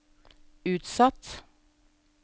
utsatt